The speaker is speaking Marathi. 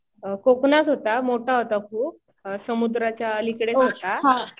कोकणात होता. मोठा होता खूप. समुद्राच्या अलीकडेच होता.